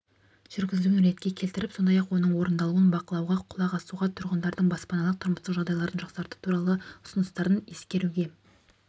жүргізілуін ретке келтіріп сондай-ақ оның орындалуын бақылауға құлақ асуға тұрғындардың баспаналық-тұрмыстық жағдайларды жақсарту туралы ұсыныстарын ескеруге